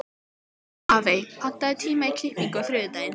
Hafey, pantaðu tíma í klippingu á þriðjudaginn.